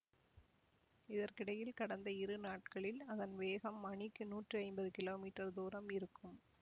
இதற்கிடையில் கடந்த இரு நாட்களில் அதன் வேகம் மணிக்கு நூற்றிஐம்பது கீழோ மீட்டர் தூரம் இருக்கும்